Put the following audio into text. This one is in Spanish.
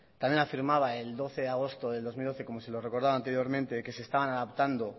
también afirmaba el doce de agosto del dos mil doce como se lo he recordado anteriormente que se estaban adaptando